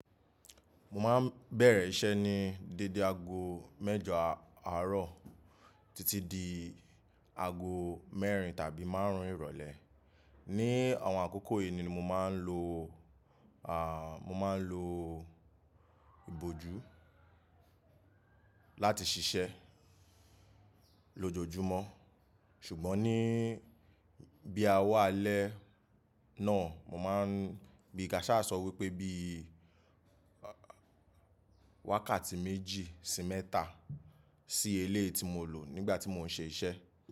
Mo máa ń bẹ̀rẹ̀ iṣẹ́ ní dédé ago mẹ́jọ àárọ̀ títí di ago mẹ́rin tàbí márùn-ún ìrọ̀lẹ́. Ni àwọn àkókò yìí ni mo máa ń lo, à, mo máa ń lo ìbòjú láti ṣiṣẹ́ lójoojúmọ́. Ṣùgbọ́n ní bí a wà alẹ́ náà, mo máa ń, bí kása sọ wípé bí i wákàtí méjì sí mẹ́ta sí eléyìí ti mo lò nígbà tí mo ń ṣe iṣẹ́.